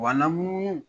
Wa lamu